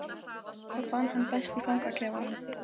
Stebbi, þú verður að fara út bakdyramegin